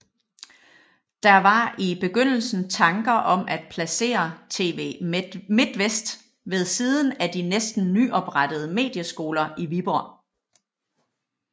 Der var i begyndelsen tanker om at placere TV Midtvest ved siden af de næsten nyoprettede Medieskoler i Viborg